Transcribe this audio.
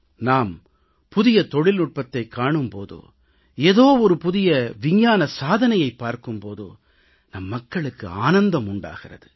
நாம் புதிய தொழில்நுட்பத்தைக் காணும் போதோ ஏதோ ஒரு புதிய விஞ்ஞான சாதனையைப் பார்க்கும் போதோ நம் மக்களுக்கு ஆனந்தம் உண்டாகிறது